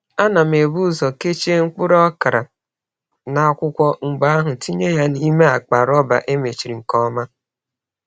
Ana m ebu ụzọ kechie mkpụrụ okra n’akwụkwọ, mgbe ahụ tinye ya n’ime akpa rọba e mechiri nke ọma.